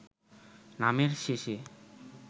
নামের শেষে